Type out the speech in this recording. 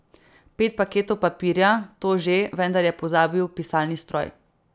Pet paketov papirja, to že, vendar je pozabil pisalni stroj.